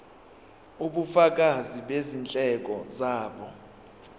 ubufakazi bezindleko zabo